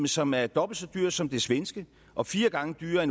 som er dobbelt så dyrt som det svenske og fire gange dyrere